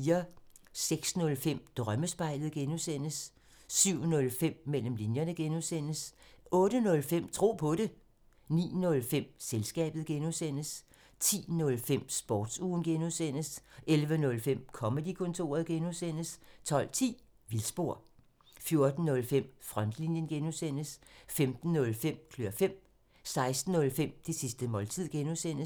06:05: Drømmespejlet (G) 07:05: Mellem linjerne (G) 08:05: Tro på det 09:05: Selskabet (G) 10:05: Sportsugen (G) 11:05: Comedy-kontoret (G) 12:10: Vildspor 14:05: Frontlinjen (G) 15:05: Klør fem 16:05: Det sidste måltid (G)